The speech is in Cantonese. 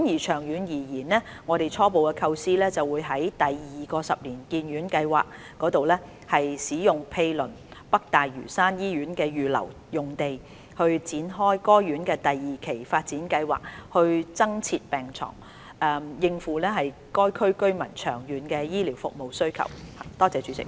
長遠而言，我們初步構思在第二個十年醫院發展計劃下使用毗鄰北大嶼山醫院的預留用地，展開該院第二期發展計劃，以增設病床，應付該區居民長遠的醫療服務需求。